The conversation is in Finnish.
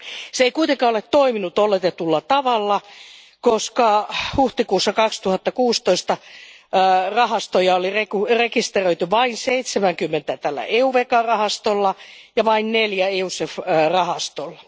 Se ei kuitenkaan ole toiminut oletetulla tavalla, koska huhtikuussa 2016 rahastoja oli rekisteröity vain 70 EuVECA rahastolla ja vain neljä EuSEF rahastolla.